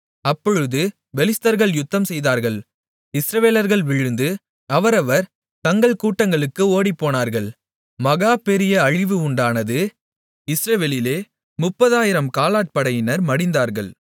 அப்பொழுது பெலிஸ்தர்கள் யுத்தம்செய்தார்கள் இஸ்ரவேலர்கள் விழுந்து அவரவர் தங்கள் கூடாரங்களுக்கு ஓடிப்போனார்கள் மகா பெரிய அழிவு உண்டானது இஸ்ரவேலிலே 30000 காலாட்படையினர் மடிந்தார்கள்